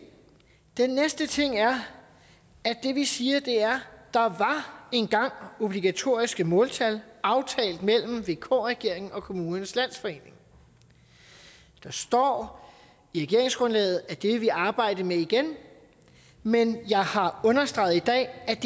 den næste ting er at det vi siger er at der engang var obligatoriske måltal som aftalt mellem vk regeringen og kommunernes landsforening og der står i regeringsgrundlaget at det vil vi arbejde med igen men jeg har understreget i dag at